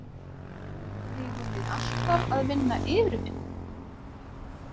Eigum við alltaf að vinna yfirvinnu?